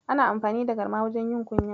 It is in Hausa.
Ana amfani da garma wajen yin kunya.